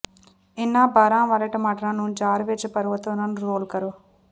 ਇਨ੍ਹਾਂ ਬਰਹਾਂ ਵਾਲੇ ਟਮਾਟਰਾਂ ਨੂੰ ਜਾਰ ਵਿੱਚ ਭਰੋ ਅਤੇ ਉਨ੍ਹਾਂ ਨੂੰ ਰੋਲ ਕਰੋ